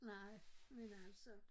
Nej men altså